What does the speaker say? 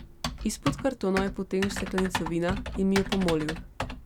Izpod kartonov je potegnil steklenico vina in mi jo pomolil.